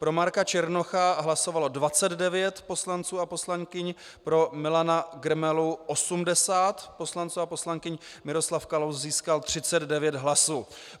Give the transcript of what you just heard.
Pro Marka Černocha hlasovalo 29 poslanců a poslankyň, pro Milana Grmelu 80 poslanců a poslankyň, Miroslav Kalous získal 39 hlasů.